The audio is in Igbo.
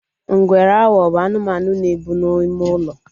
Ngwere awo bụ anụmanụ na-ebe n'ime ulo